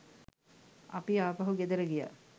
අපි ආපහු ගෙදර ගියා